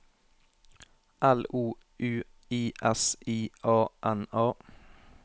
L O U I S I A N A